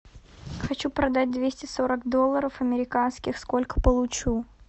хочу продать двести сорок долларов американских сколько получу